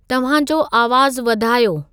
तव्हां जो आवाज़ु वधायो